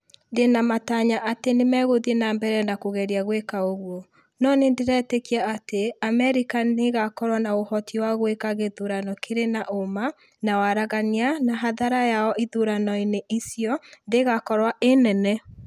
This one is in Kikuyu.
Ndĩna matanya atĩ nĩmegũthĩĩ na mbere na kũgerĩa gwĩka ũguo, no nĩndĩretĩkĩa atĩ Amerĩka nĩĩgakorwo na ũhoti wa gwĩka gĩthurano kĩrĩ na ũma na waraganĩa na hathara yao ithurano-inĩ icio ndĩgakorwo ĩ nene